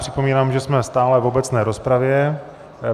Připomínám, že jsme stále v obecné rozpravě.